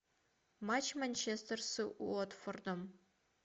матч манчестер с уотфордом